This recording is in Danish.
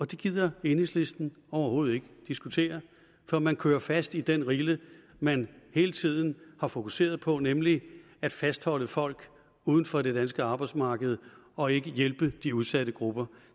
det gider enhedslisten overhovedet ikke diskutere for man kører fast i den rille man hele tiden har fokuseret på nemlig at fastholde folk uden for det danske arbejdsmarked og ikke hjælpe de udsatte grupper